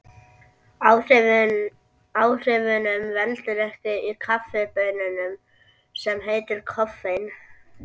Áhrifunum veldur efni í kaffibaununum sem heitir koffein.